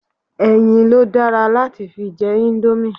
Ẹyin lo dára láti fi jẹ indomie